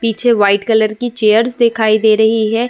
पीछे white colour की chairs दिखाई दे रही है।